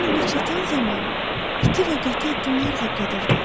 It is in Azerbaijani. Mən ona çatan zaman iti və qəti addımlarla gedirdi.